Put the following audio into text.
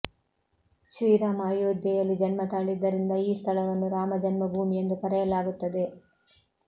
ಶ್ರೀರಾಮ ಅಯೋಧ್ಯೆಯಲ್ಲಿ ಜನ್ಮ ತಾಳಿದ್ದರಿಂದ ಈ ಸ್ಥಳವನ್ನು ರಾಮ ಜನ್ಮಭೂಮಿ ಎಂದು ಕರೆಯಲಾಗುತ್ತದೆ